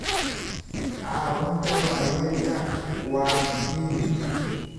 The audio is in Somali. Caawinta waayeelka waa muhiim.